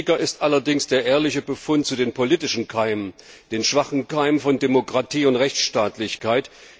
Wichtiger ist allerdings der ehrliche Befund zu den politischen Keimen, den schwachen Keimen von Demokratie und Rechtsstaatlichkeit.